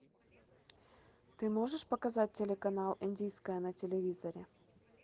ты можешь показать телеканал индийское на телевизоре